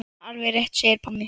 Alveg rétt segir Pálmi.